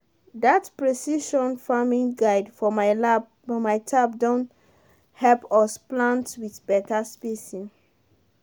that precision farming guide for my tab don help us plant with better spacing.